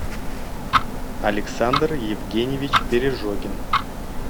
александр евгеньевич пережогин